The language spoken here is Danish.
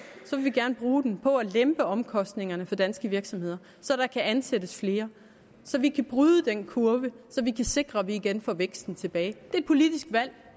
så vil vi gerne bruge den på at lempe omkostningerne for danske virksomheder så der kan ansættes flere så vi kan bryde den kurve og så vi kan sikre at vi igen får væksten tilbage det er et politisk valg og